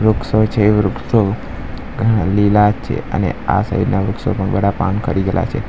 વૃક્ષો છે વૃક્ષો વૃક્ષો ઘણા લીલા છે અને આ સાઇડ ના વૃક્ષો પણ બધા પાન ખરી ગયેલા છે.